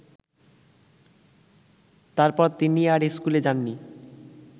তারপর তিনি আর স্কুলে যাননি